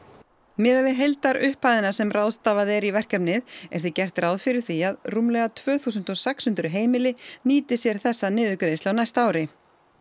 miðað við heildarupphæðina sem ráðstafað er í verkefnið er því gert ráð fyrir því að rúmlega tvö þúsund og sex hundruð heimili nýti sér þessa niðurgreiðslu á næsta ári